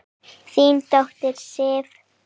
Þín dóttir, Sif.